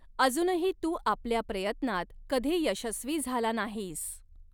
अजूनही तू आपल्या प्रयत्नात कधी यशस्वी झाला नाहीस.